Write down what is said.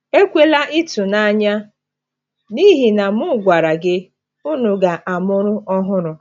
Ekwela ịtụnanya n’ihi na m gwara gị, unu ga-amụrụ ọhụrụ.